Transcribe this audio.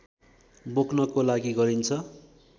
बोक्नको लागि गरिन्छ